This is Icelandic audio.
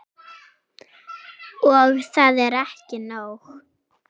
Og það er ekki nóg.